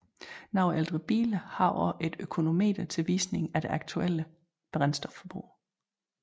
Nogle ældre biler har også et økonometer til visning af det aktuelle brændstofforbrug